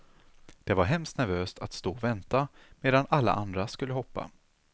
Det var hemskt nervöst att stå och vänta medan alla andra skulle hoppa.